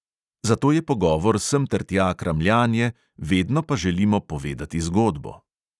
Zato je pogovor semtertja kramljanje, vedno pa želimo povedati zgodbo.